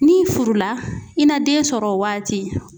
N'i furula i na den sɔrɔ o waati.